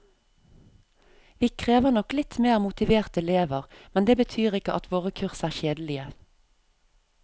Vi krever nok litt mer motiverte elever, men det betyr ikke at våre kurs er kjedelige.